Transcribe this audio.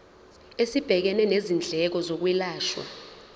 esibhekene nezindleko zokwelashwa